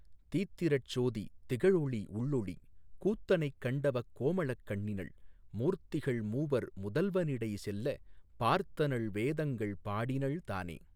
தீத்திரட் சோதி திகழொளி உள்ளொளி கூத்தனைக் கண்டவக் கோமளக் கண்ணினள் மூர்த்திகள் மூவர் முதல்வ னிடைசெல்ல பார்த்தனள் வேதங்கள் பாடினள் தானே.